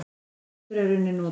Sá frestur er út runninn.